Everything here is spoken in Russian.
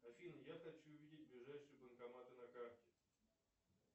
афина я хочу увидеть ближайшие банкоматы на карте